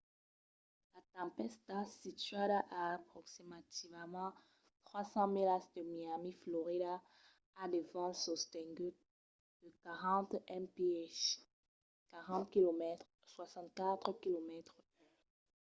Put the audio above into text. la tempèsta situada a aproximativament 3 000 milas de miami florida a de vents sostenguts de 40 mph 64 km/h